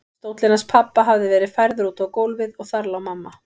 Stóllinn hans pabba hafði verið færður út á gólfið og þar lá mamma.